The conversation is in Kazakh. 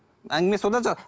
әңгіме содан шығады